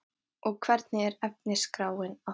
Elín: Og hvernig er efnisskráin að þessu sinni?